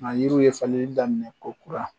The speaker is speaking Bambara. Nka yiriw ye falenli daminɛ ko kura.